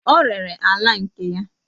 O rere ala nke ya